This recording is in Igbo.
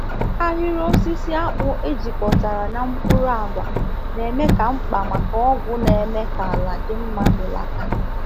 Ahịrị osisi akpụ e jikọtara na mkpụrụ agwa na-eme ka mkpa maka ọgwụ na-eme ka ala dị mma belata.